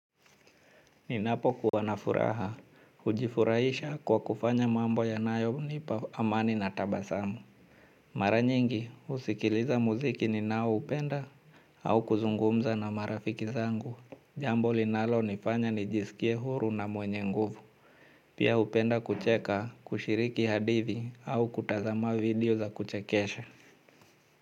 Ninapo kuwa na furaha, hujifurahisha kwa kufanya mambo yanayonipa amani na tabasamu. Maranyingi, husikiliza muziki ninaoupenda au kuzungumza na marafiki zangu. Jambo linalonifanya nijisikie huru na mwenye nguvu. Pia hupenda kucheka, kushiriki hadithi au kutazama video za kuchekesha.